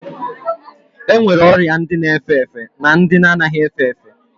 E nwere ọrịa ndị na efe efe na ndị anaghị efe efe